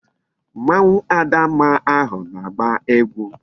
Mmanwu Adamma ahu na-agba egwu